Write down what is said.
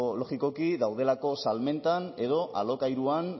logikoki daudelako salmentan edo alokairuan